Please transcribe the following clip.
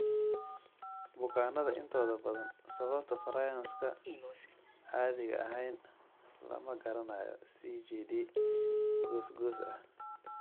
Bukaannada intooda badan, sababta prions-ka aan caadiga ahayn lama garanayo (CJD goos goos ah).